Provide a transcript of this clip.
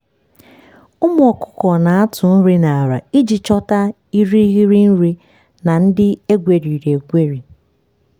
ụmụ ọkụkụ na-atụ nri n’ala iji chọta irighiri nri na ndị egweriri egweri